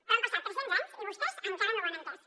però han passat tres cents anys i vostès encara no ho han entès